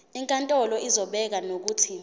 inkantolo izobeka nokuthi